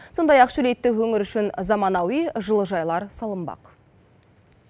сондай ақ шөлейтті өңір үшін заманауи жылыжайлар салынбақ